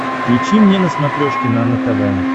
включи мне на смотрешке нано тв